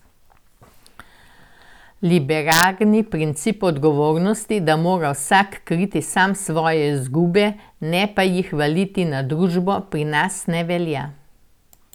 Liberalni princip odgovornosti, da mora vsak kriti sam svoje izgube, ne pa jih valiti na družbo, pri nas ne velja.